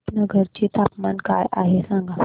रुपनगर चे तापमान काय आहे सांगा